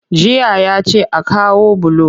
Jiya ya ce a kawo bulo